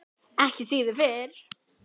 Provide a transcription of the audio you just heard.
Ekki síður fyrir